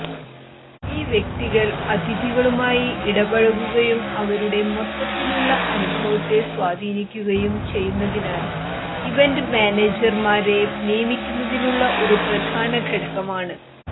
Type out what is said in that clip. ഈ വ്യക്തികൾ അതിഥികളുമായി ഇടപഴകുകയും അവരുടെ മൊത്തത്തിലുള്ള അനുഭവത്തെ സ്വാധീനിക്കുകയും ചെയ്യുന്നതിനാൽ ഇവന്റ് മാനേജർമാരെ നിയമിക്കുന്നതിനുള്ള ഒരു പ്രധാന ഘടകമാണ്